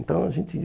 Então, a gente